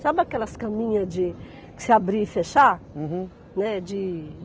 Sabe aquelas caminhas de você abrir e fechar? Uhum. Né, de